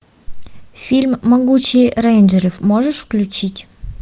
фильм могучие рейнджеры можешь включить